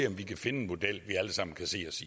om vi kan finde en model vi alle sammen kan se os